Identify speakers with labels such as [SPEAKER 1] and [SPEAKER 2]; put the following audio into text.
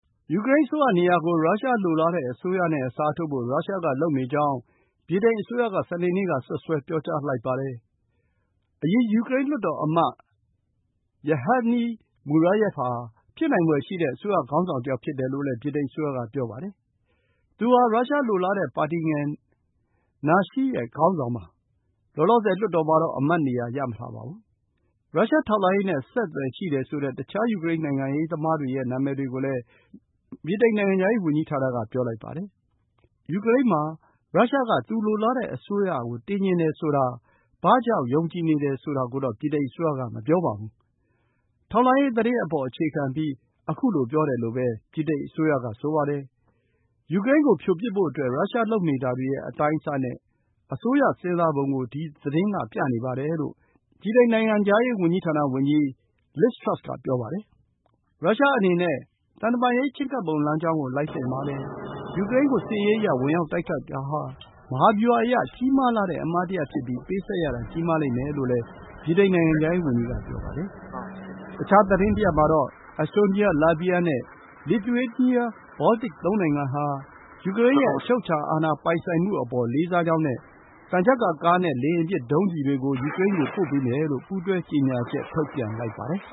[SPEAKER 1] ယူကရိန်းအစိုးရနေရာကို ရုရှားလိုလားတဲ့ အစိုးရနဲ့ အစားထိုးဖို့ ရုရှားက လုပ်နေကြောင်း ဗြိတိန်အစိုးရက စနေနေ့က စွပ်စွဲ ပြောကြားလိုက်ပါတယ်။ အရင် ယူကရိန်း လွှတ်တော်အမတ် Yevheniy Murayev ဟာ ဖြစ်နိုင်ဖွယ်ရှိတဲ့ အစိုးရ ခေါင်းဆောင်တယောက် ဖြစ်တယ်လို့လည်း ဗြိတိန်အစိုးရက ပြောပါတယ်။ သူဟာ ရုရှားလိုလားတဲ့ ပါတီငယ် Nashi ရဲ့ ခေါင်းဆောင်ပါ။ လောလောဆယ် လွှတ်တော်မှာတော့ အမတ်နေရာ ရမထားပါဘူး။ ရုရှားထောက်လှမ်းရေးနဲ့ အဆက်အသွယ် ရှိတယ်ဆိုတဲ့ တခြား ယူကရိန်း နိုင်ငံရေးသမားတွေရဲ့ နာမည်တွေကိုလည်း ဗြိတိန် နိုင်ငံခြားရေးဝန်ကြီးဌာနက ပြောလိုက်ပါတယ်။ ယူကရိန်းမှာ ဘာကြောင့် ရုရှားက သူလိုလားတဲ့ အစိုးရကို တင်ချင်တယ်လို့ ယုံကြည်နေတာကိုတော့ မပြောပါဘူး။ ထောက်လှမ်းရေးသတင်းပေါ် အခြေခံပြီး ခုလို ပြောတယ်လို့ ဗြိတိန်အစိုးရက ဆိုပါတယ်။ ယူကရိန်းကို ဖြိုပစ်ဖို့အတွက် ရုရှားလုပ်နေတာတွေရဲ့ အတိုင်းအဆနဲ့ အစိုးရ စဉ်းစားပုံကို ဒီသတင်းက ပြနေပါတယ်လို့ နိုင်ငံခြားရေးဝန်ကြီးဌာန ဝန်ကြီး Liz Truss က ပြောပါတယ်။ ရုရှားအနေနဲ့ သံတမန်ရေး ချဉ်းကပ်ပုံ လမ်းကြောင်းကို လိုက်သင့်ပါတယ်။ ယူကရိန်းကို စစ်ရေးအရ ဝင်ရောက်တိုက်ခိုက်တာဟာ မဟာဗျူဟာအရ ကြီးမားလှတဲ့ အမှားတရပ် ဖြစ်ပြီး ပေးဆပ်ရတာ ကြီးမားလိမ့်မယ်လို့လည်း ဗြိတိန် နိုင်ငံခြားရေးဝန်ကြီးက ပြောပါတယ်။ တခြားသတင်းတရပ်မှာတော့ Estonia, Latvia and Lithuania ဘောလ်တစ် သုံးနိုင်ငံဟာ ယူကရိန်းရဲ့ အချုပ်အခြာအာဏာ ပိုင်ဆိုင်မှုအပေါ် လေးစားကြောင်းနဲ့ သံချပ်ကာကားနဲ့ လေယာဉ်ပစ် ဒုံးကျည်တွေကို ယူကရိန်းကို ပို့ပေးမယ်လို့ ပူးတွဲ ကြေညာချက် ထုတ်ပြန်လိုက်ပါတယ်